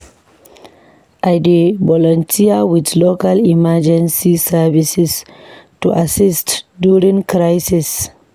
I dey volunteer with local emergency services to assist during crisis.